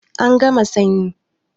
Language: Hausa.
An gama sanyi